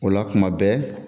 O la kuma bɛɛ.